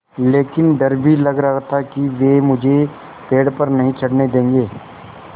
लेकिन डर भी लग रहा था कि वे मुझे पेड़ पर नहीं चढ़ने देंगे